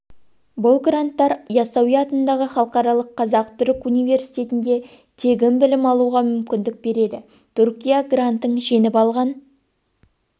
бұл гранттар ясауи атындағы халықаралық қазақ-түрік университетінде тегін білім алуға мүмкіндік береді түркия грантын жеңіп алған